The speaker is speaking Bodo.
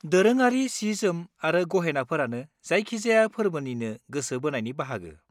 दोरोङारि सि-जोम आरो गहेनाफोरानो जायखिजाया फोर्बोनिनो गोसो बोनायनि बाहागो।